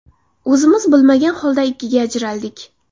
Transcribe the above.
O‘zimiz bilmagan holda ikkiga ajraldik.